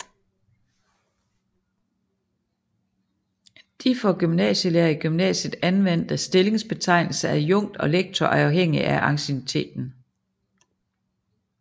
De for gymnasielærere i gymnasiet anvendte stillingsbetegnelser adjunkt og lektor er afhængige af anciennitet